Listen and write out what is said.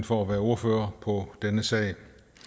for at være ordfører på denne sag